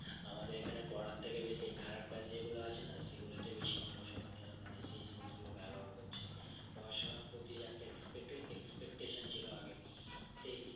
আমাদের এখানে পড়ার থেকে বেশি খারাপ কাজ যেগুলো আছে না সেগুলোতে বেশি মানুষ এখনই মানে সেই জিনিস গুলো ব্যবহার করছে পড়াশোনার প্রতি যে একটা expect expectation ছিল আগে সেই